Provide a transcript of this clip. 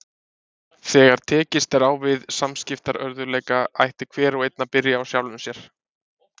Þegar tekist er á við samskiptaörðugleika ætti hver og einn að byrja á sjálfum sér.